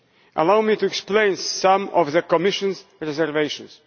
Allow me to explain some of the Commission's reservations.